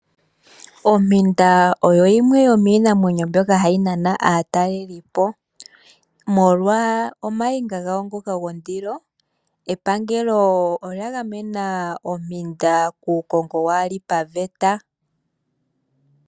Ompinda oyo yimwe yomiinamwenyo mbyoka hayi nana aatalelipo molwa ooninga dhago ndhoka dhondilo . Epangelo olya gamena ompinda kuukongo kaawuli paveta.